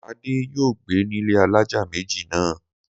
Adé yóò gbé ní ilé alájà méjì náà.